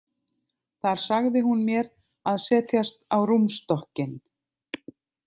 Þar sagði hún mér að setjast á rúmstokkinn.